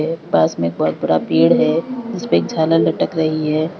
एक पास में बहुत बड़ा पेड़ है जिस पर झालर लटक रही है।